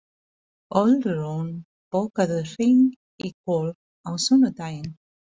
Ölrún, bókaðu hring í golf á sunnudaginn.